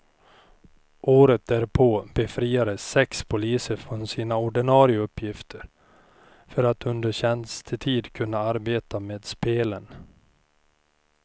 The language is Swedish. Året därpå befriades sex poliser från sina ordinare uppgifter för att under tjänstetid kunna arbeta med spelen.